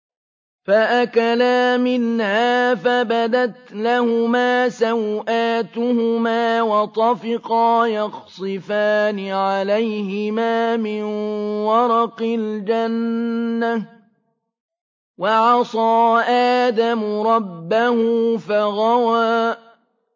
فَأَكَلَا مِنْهَا فَبَدَتْ لَهُمَا سَوْآتُهُمَا وَطَفِقَا يَخْصِفَانِ عَلَيْهِمَا مِن وَرَقِ الْجَنَّةِ ۚ وَعَصَىٰ آدَمُ رَبَّهُ فَغَوَىٰ